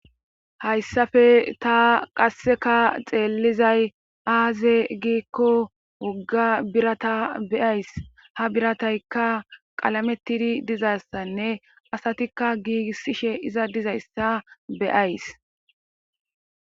hayssafe ta qasseka xeellizay aaze giikko wogga birata beyays ha birataykka qalamettidi dizassanne asatikka giigissishe iza dizayssa beyays